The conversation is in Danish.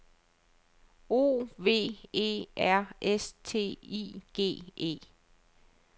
O V E R S T I G E